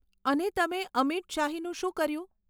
અને તમે અમીટ શાહીનું શું કર્યું?